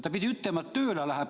" Ta pidi ütlema, et tööle läheb.